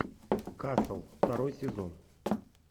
касл второй сезон